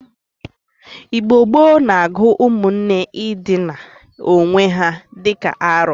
Igbo gboo na-agụ ụmụnne ịdịna owe ha di ka arọ.